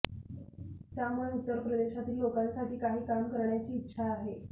त्यामुळे उत्तर प्रदेशातील लोकांसाठी काही काम करण्याची इच्छा आहे